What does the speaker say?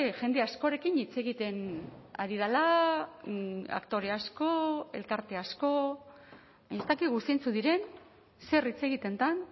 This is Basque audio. jende askorekin hitz egiten ari dela aktore asko elkarte asko ez dakigu zeintzuk diren zer hitz egiten den